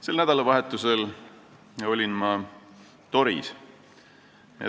Sel nädalavahetusel olin ma Toris.